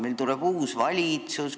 Meil tuleb uus valitsus.